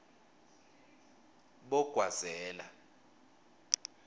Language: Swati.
bogwazela